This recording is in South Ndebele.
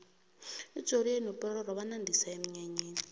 ujoriyo nopororo bxnandisa emnyanyeni